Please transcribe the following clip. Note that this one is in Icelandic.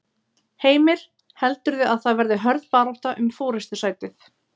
Heimir: Heldurðu að það verði hörð barátta um forystusætið?